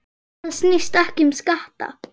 Þetta snýst ekki um skatta.